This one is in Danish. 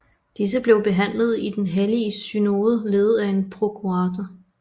Disse blev behandlede i Den hellige synode ledet af en prokurator